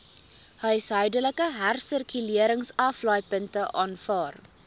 huishoudelike hersirkuleringsaflaaipunte aanvaar